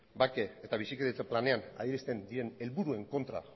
bake eta bizikidetza planean adierazten diren helburuen kontra